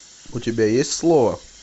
у тебя есть слово